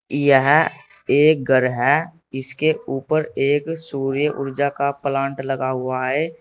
यह एक घर है इसके ऊपर एक सूर्य ऊर्जा का प्लांट लगा हुआ है।